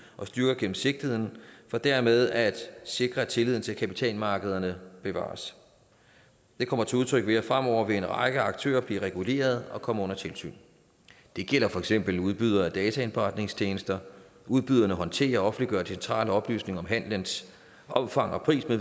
og styrker gennemsigtigheden for dermed at sikre at tilliden til kapitalmarkederne bevares det kommer til udtryk ved at fremover vil en række aktører blive reguleret og komme under tilsyn det gælder for eksempel udbydere af dataindberetningstjenester udbyderne håndterer og offentliggør centrale oplysninger om handelens omfang og pris